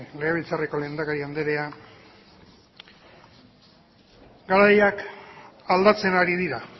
legebiltzarreko lehendakari anderea garaiak aldatzen ari dira